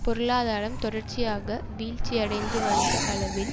பொருளாதாரம் தொடர்ச்சியாக வீழ்ச்சியடையந்து வந்த அளவில்